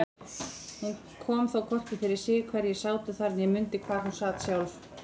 Hún kom þó hvorki fyrir sig hverjir sátu þar né mundi hvar hún sat sjálf.